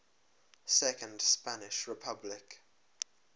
second spanish republic